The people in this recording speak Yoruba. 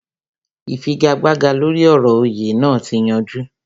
Ìfigagbága lóri ọ̀rọ̀ òyè naa ti yanjú